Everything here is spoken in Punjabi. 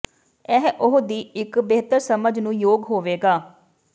ਇਹ ਉਹ ਦੀ ਇੱਕ ਬਿਹਤਰ ਸਮਝ ਨੂੰ ਯੋਗ ਹੋਵੇਗਾ